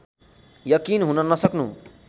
यकिन हुन नसक्नु